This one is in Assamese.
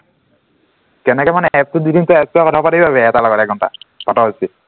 কেনেকে মানে app টোত দি দিম তই app টোত কথা পাতি লবি এটাৰ লগত এঘন্টা পাত যদি